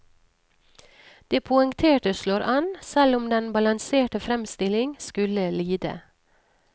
Det poengterte slår an, selv om den balanserte fremstilling skulle lide.